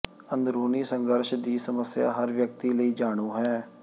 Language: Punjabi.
ਅੰਦਰੂਨੀ ਸੰਘਰਸ਼ ਦੀ ਸਮੱਸਿਆ ਹਰ ਵਿਅਕਤੀ ਲਈ ਜਾਣੂ ਹੈ